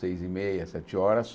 Seis e meia, sete horas.